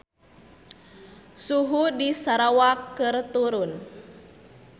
Suhu di Sarawak keur turun